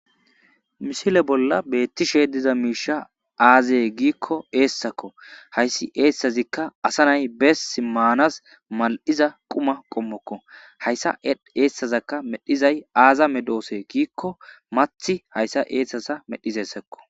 Misile bolla beettishe diza miisha aazee giikko eessakko hayssi eessazikka asa nay bess maanas mal7iza quma qommokko hayssa eessazaka medhizay aaza medoose giikko mathi hayssa eessasa medhizessakko.